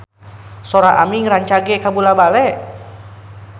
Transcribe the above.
Sora Aming rancage kabula-bale